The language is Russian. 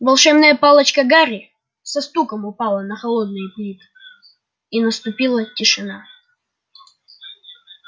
волшебная палочка гарри со стуком упала на холодные плиты и наступила тишина